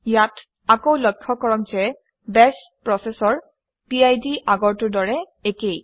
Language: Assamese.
ইয়াত আকৌ লক্ষ্য কৰক যে বাশ প্ৰচেচৰ পিড আগৰটোৰ দৰে একে